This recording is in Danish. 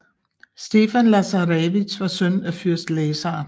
Stefan Lazarevic var søn af fyrst Lazar